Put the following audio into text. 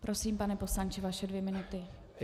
Prosím, pane poslanče, vaše dvě minuty.